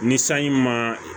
Ni sanji ma